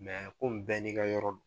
bɛɛ ni ka yɔrɔ don .